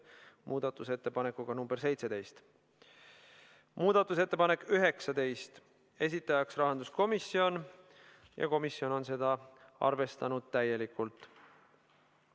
Muudatusettepanek nr 19, esitajaks on rahanduskomisjon ja seda on arvestanud täielikult.